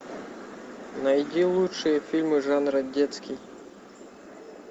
найди лучшие фильмы жанра детский